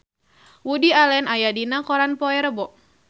Woody Allen aya dina koran poe Rebo